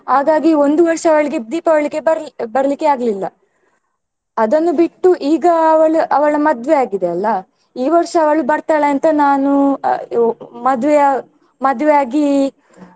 ಹಾಗಾಗಿ ಒಂದು ವರ್ಷ ಅವಳಿಗೆ ದೀಪಾವಳಿಗೆ ಬರ್ಲಿ~ ಬರ್ಲಿಕ್ಕೆ ಆಗ್ಲಿಲ್ಲ ಅದನ್ನು ಬಿಟ್ಟು ಈಗ ಅವಳ ಅವಳ ಮದ್ವೆ ಆಗಿದೆ ಅಲ್ಲಾ ಈ ವರ್ಷ ಅವಳು ಬರ್ತಾಳೆ ಅಂತ ನಾನು ಅಹ್ ಮದ್ವೆ ಮದ್ವೆ ಆಗಿ.